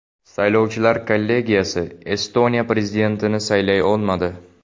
Saylovchilar kollegiyasi Estoniya prezidentini saylay olmadi.